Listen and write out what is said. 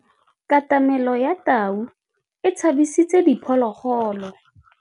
Katamêlô ya tau e tshabisitse diphôlôgôlô.